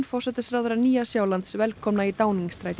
forsætisráðherra Nýja Sjálands velkomna í